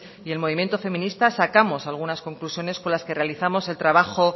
y el movimiento feminista sacamos algunas conclusiones con las que realizamos el trabajo